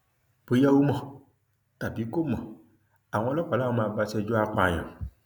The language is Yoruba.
bóyá ó mọ tàbí kò mọ àwọn ọlọpàá làwọn máa bá a ṣẹjọ apààyàn